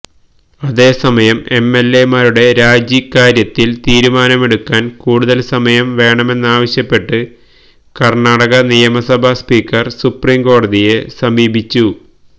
അതേസമയം എംഎൽഎമാരുടെ രാജിക്കാര്യത്തിൽ തീരുമാനമെടുക്കാൻ കൂടുതൽ സമയം വേണമെന്നാവശ്യപ്പെട്ട് കർണാടക നിയമസഭാ സ്പീക്കർ സുപ്രീംകോടതിയെ സമീപിച്ചു